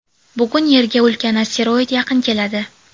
Bugun Yerga ulkan asteroid yaqin keladi.